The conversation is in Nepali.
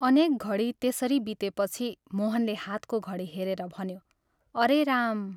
अनेक घडी त्यसरी बितेपछि मोहनले हातको घडी हेरेर भन्यो, "अरे राम!